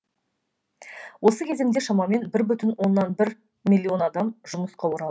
осы кезеңде шамамен бір бүтін оннан бір миллион адам жұмысқа оралды